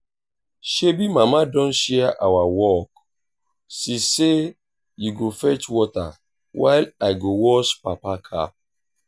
shebi mama don share our work. she sey you go fetch water while i go wash papa car